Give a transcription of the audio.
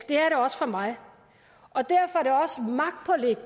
det er det også for mig og derfor er